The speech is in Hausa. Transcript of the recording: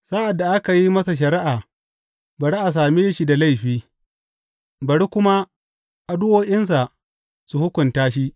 Sa’ad da aka yi masa shari’a, bari a same shi da laifi, bari kuma addu’o’insa su hukunta shi.